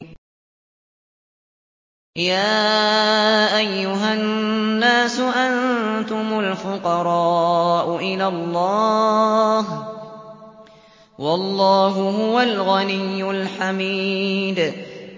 ۞ يَا أَيُّهَا النَّاسُ أَنتُمُ الْفُقَرَاءُ إِلَى اللَّهِ ۖ وَاللَّهُ هُوَ الْغَنِيُّ الْحَمِيدُ